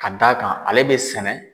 Ka d'a kan ale bɛ sɛnɛ.